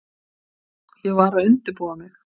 Ég var að undirbúa mig.